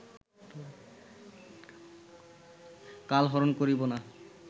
কালহরণ করিব না